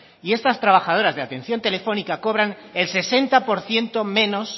y estas trabajadoras de atención telefónica cobran el sesenta por ciento menos